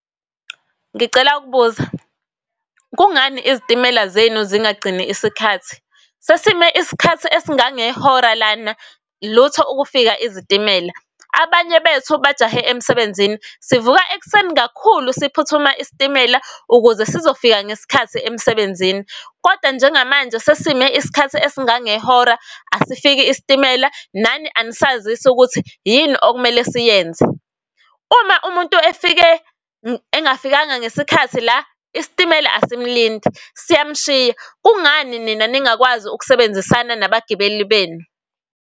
Ngicela ukubuza, kungani izitimela zenu zingagcini isikhathi? Sesime isikhathi esingangehora lana lutho ukufika izitimela. Abanye bethu bajahe emsebenzini. Sivuka ekuseni kakhulu, siphuthuma isitimela ukuze sizofika ngesikhathi emsebenzini. Kodwa njengamanje sesisime isikhathi esingangehora asifiki isitimela, nani anisazisi ukuthi yini okumele siyenze. Uma umuntu efike engafikanga ngesikhathi la, isitimela asimlindi siyamshiya. Kungani nina ningakwazi ukusebenzisana nabagibeli benu?